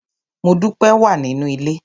Modúpẹ́ wà nínú ilé.